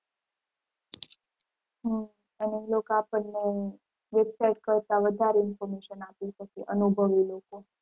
હમ અને એ લોકો આપણને website કરતાં વધારે information આપી શકે અનુભવી લોકો.